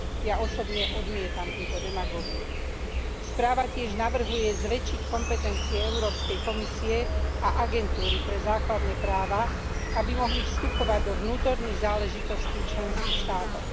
Ja osobne odmietam túto demagógiu. Správa tiež navrhuje zväčšiť kompetencie Európskej komisie a Agentúry pre základné práva, aby mohli vstupovať do vnútorných záležitostí členských štátov.